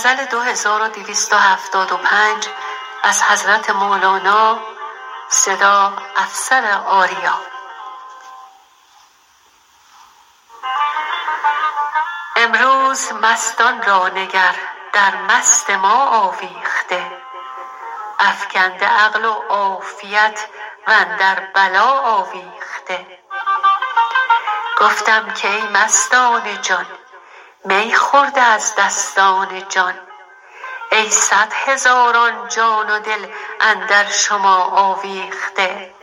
امروز مستان را نگر در مست ما آویخته افکنده عقل و عافیت و اندر بلا آویخته گفتم که ای مستان جان می خورده از دستان جان ای صد هزاران جان و دل اندر شما آویخته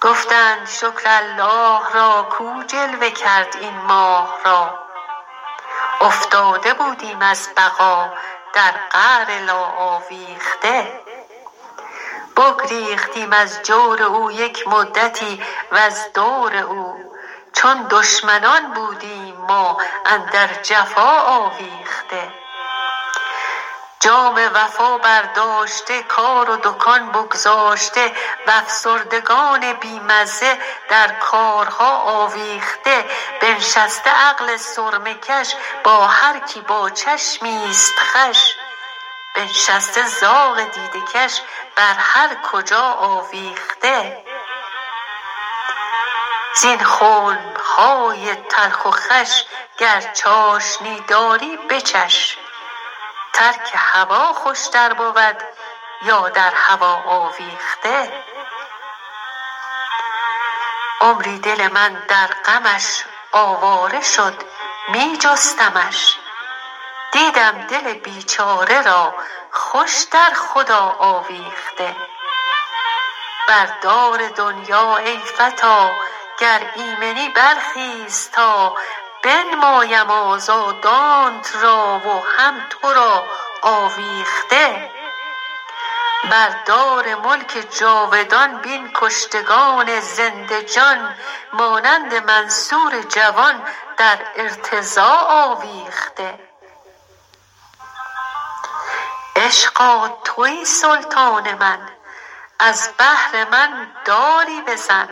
گفتند شکر الله را کو جلوه کرد این ماه را افتاده بودیم از بقا در قعر لا آویخته بگریختیم از جور او یک مدتی وز دور او چون دشمنان بودیم ما اندر جفا آویخته جام وفا برداشته کار و دکان بگذاشته و افسردگان بی مزه در کارها آویخته بنشسته عقل سرمه کش با هر کی با چشمی است خوش بنشسته زاغ دیده کش بر هر کجا آویخته زین خنب های تلخ و خوش گر چاشنی داری بچش ترک هوا خوشتر بود یا در هوا آویخته عمری دل من در غمش آواره شد می جستمش دیدم دل بیچاره را خوش در خدا آویخته بر دار دنیا ای فتی گر ایمنی برخیز تا بنمایم آزادانت را و هم تو را آویخته بر دار ملک جاودان بین کشتگان زنده جان مانند منصور جوان در ارتضا آویخته عشقا توی سلطان من از بهر من داری بزن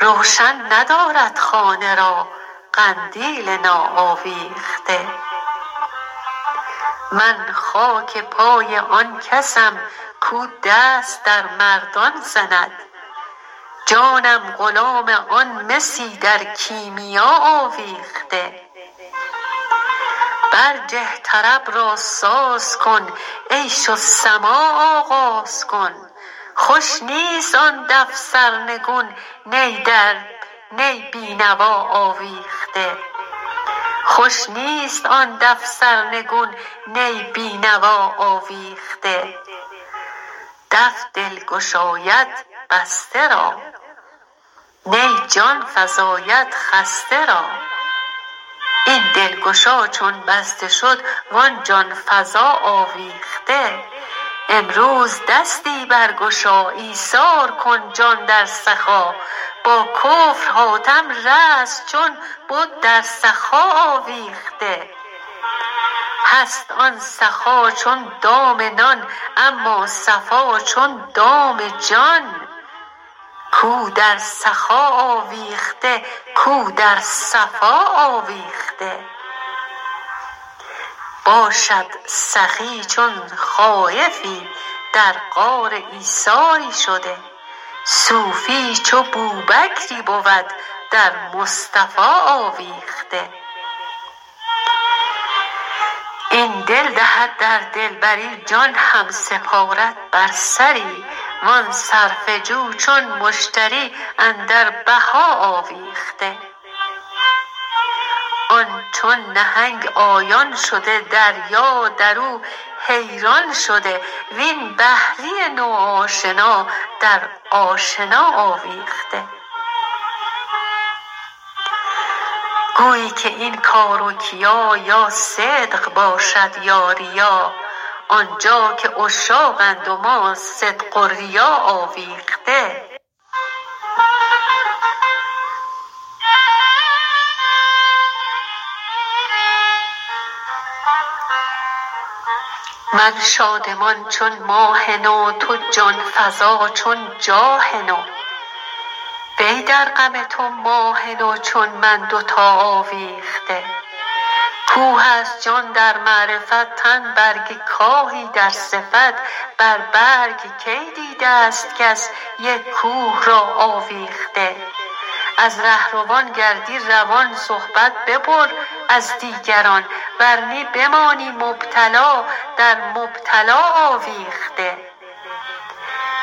روشن ندارد خانه را قندیل ناآویخته من خاک پای آن کسم کو دست در مردان زند جانم غلام آن مسی در کیمیا آویخته برجه طرب را ساز کن عیش و سماع آغاز کن خوش نیست آن دف سرنگون نی بی نوا آویخته دف دل گشاید بسته را نی جان فزاید خسته را این دلگشا چون بسته شد و آن جان فزا آویخته امروز دستی برگشا ایثار کن جان در سخا با کفر حاتم رست چون بد در سخا آویخته هست آن سخا چون دام نان اما صفا چون دام جان کو در سخا آویخته کو در صفا آویخته باشد سخی چون خایفی در غار ایثاری شده صوفی چو بوبکری بود در مصطفی آویخته این دل دهد در دلبری جان هم سپارد بر سری و آن صرفه جو چون مشتری اندر بها آویخته آن چون نهنگ آیان شده دریا در او حیران شده وین بحری نوآشنا در آشنا آویخته گویی که این کار و کیا یا صدق باشد یا ریا آن جا که عشاقند و ما صدق و ریا آویخته شب گشت ای شاه جهان چشم و چراغ شب روان ای پیش روی چون مهت ماه سما آویخته من شادمان چون ماه نو تو جان فزا چون جاه نو وی در غم تو ماه نو چون من دوتا آویخته کوه است جان در معرفت تن برگ کاهی در صفت بر برگ کی دیده است کس یک کوه را آویخته از ره روان گردی روان صحبت ببر از دیگران ور نی بمانی مبتلا در مبتلا آویخته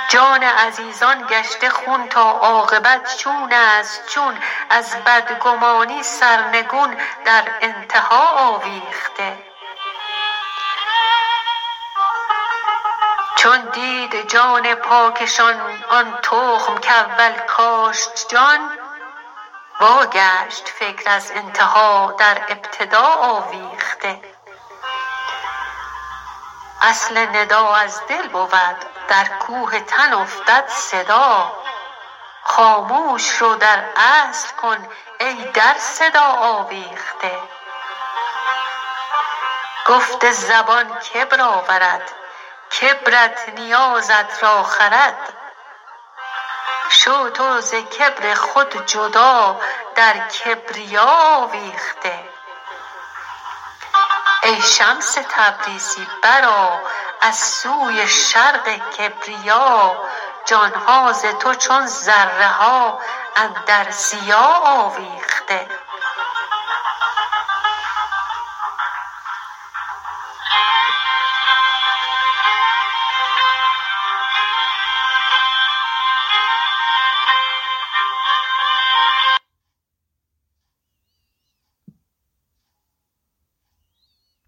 جان عزیزان گشته خون تا عاقبت چون است چون از بدگمانی سرنگون در انتها آویخته چون دید جان پاکشان آن تخم کاول کاشت جان واگشت فکر از انتها در ابتدا آویخته اصل ندا از دل بود در کوه تن افتد صدا خاموش رو در اصل کن ای در صدا آویخته گفت زبان کبر آورد کبرت نیازت را خورد شو تو ز کبر خود جدا در کبریا آویخته ای شمس تبریزی برآ از سوی شرق کبریا جان ها ز تو چون ذره ها اندر ضیا آویخته